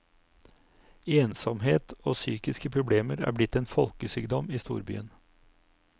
Ensomhet og psykiske problemer er blitt en folkesykdom i storbyen.